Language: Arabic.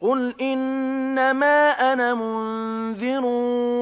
قُلْ إِنَّمَا أَنَا مُنذِرٌ ۖ